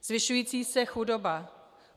Zvyšující se chudoba.